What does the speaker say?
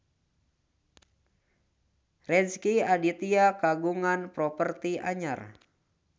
Rezky Aditya kagungan properti anyar